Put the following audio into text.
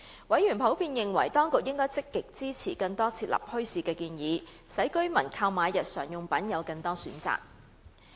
委員普遍認為當局應積極支持更多設立墟市的建議，使居民購買日常用品有更多選擇。